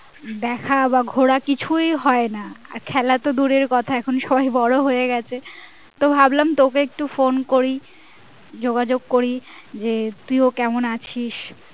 দেখা বা ঘোড়া কিছুই হয় না আর খেলা তো দূরের কথা দেখো এখন সবাই বড় হয়ে গিয়েছে তো ভাবলাম তোকে একটু phone করি যোগাযোগ করি যে তুইও কেমন আছিস?